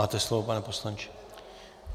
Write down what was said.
Máte slovo, pane poslanče.